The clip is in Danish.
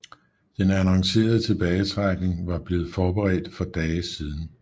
Den annoncerede tilbagetrækning var blevet forberedt for dage siden